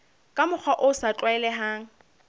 ka mokgwa o sa tlwaelehang